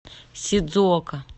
сидзуока